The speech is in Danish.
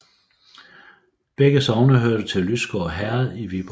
Begge sogne hørte til Lysgård Herred i Viborg Amt